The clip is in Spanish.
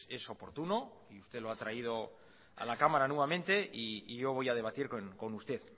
es oportuno y usted lo ha traído a la cámara nuevamente y yo voy a debatir con usted